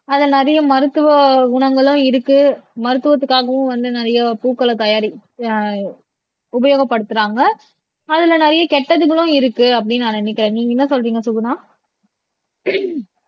அதுல நிறைய மருத்துவ குணங்களும் இருக்கு மருத்துவத்துக்காகவும் வந்து நிறைய பூக்களை தயாரிக் அஹ் உபயோகப்படுத்துறாங்க அதுல நிறைய கெட்டதுகளும் இருக்கு அப்படின்னு நான் நினைக்கிறேன் நீங்க என்ன சொல்றீங்க சுகுனா